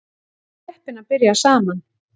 Við vorum heppin að byrja saman